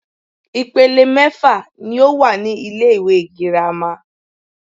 Ìpele mẹ́fà ní o wà ní ilé ìwé gírámà.